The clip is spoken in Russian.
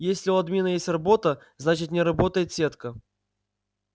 если у админа есть работа значит не работает сетка